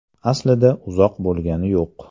Aslida uzoq bo‘lgani yo‘q.